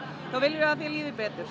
þá viljum við að þér líði betur